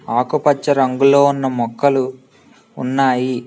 ఆకుపచ్చ రంగులో ఉన్న మొక్కలు ఉన్నాయి.